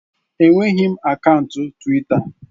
Enweghị m akaụntụ Twita